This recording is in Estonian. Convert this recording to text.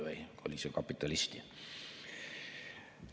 Või oli see nii, et kapitalisti?